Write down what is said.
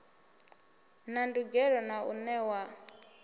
na ndugelo na u newa